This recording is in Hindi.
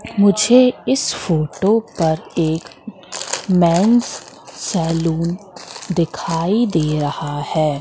मुझे इस फोटो पर एक मेंस सैलून दिखाई दे रहा है।